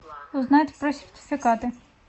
узнать про сертификаты